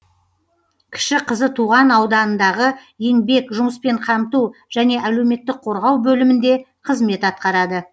кіші қызы туған ауданындағы еңбек жұмыспен қамту және әлеуметтік қорғау бөлімінде қызмет атқарады